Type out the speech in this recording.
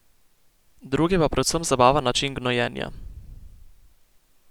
Druge pa predvsem zabava način gnojenja.